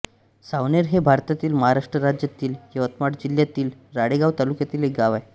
सावनेर हे भारतातील महाराष्ट्र राज्यातील यवतमाळ जिल्ह्यातील राळेगांव तालुक्यातील एक गाव आहे